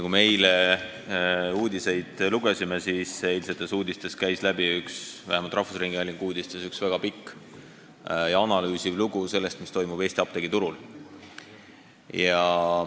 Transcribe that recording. Kui me eile uudiseid lugesime, siis nägime, et vähemalt rahvusringhäälingu uudistest käis läbi väga pikk ja analüüsiv lugu sellest, mis toimub Eesti apteegiturul.